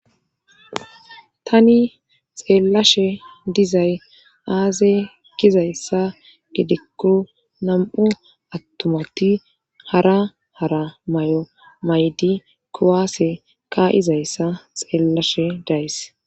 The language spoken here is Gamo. tani xeellashe dizay aaze gizayssa gedekku nam7u attumati hara hara may7o maydi kowaase ka izayssa xeellashe days